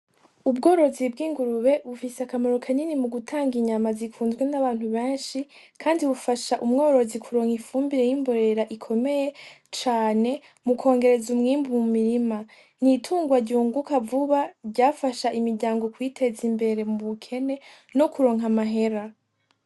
Ubworozi bw'ingurube bufise akamaro kanini mugutanga inyama zikunzwe n'abantu benshi, kandi bufasha umworozi kuronka ifumbire y'imborera ikomeye cane mukongereza umwimbu mu mirima, n'itungwa ryukunga vuba ryafasha imiryango kwiteza imbere mu bukene no kuronka amahera.